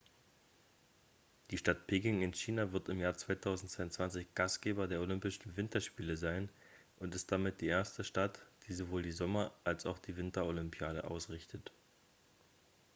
die stadt peking in china wird im jahr 2022 gastgeber der olympischen winterspiele sein und ist damit die erste stadt die sowohl die sommer als auch die winterolympiade ausrichtet